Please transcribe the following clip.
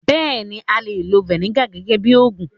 Bẹ́ẹ̀ni, a lè lọ Vinegar gẹ́gẹ́ bíi ogún